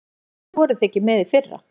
Af hverju voruð þið ekki með í fyrra?